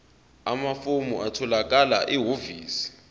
amafomu atholakala ehhovisi